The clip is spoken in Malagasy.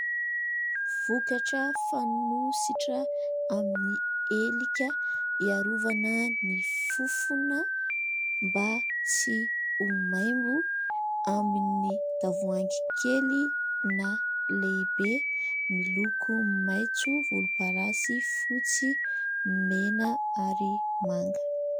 Vokatra fanosotra amin'ny helika iarovana ny fofona mba tsy ho maimbo, amin'ny tavoahangy kely na lehibe miloko : maitso, volomparasy, fotsy, mena ary manga.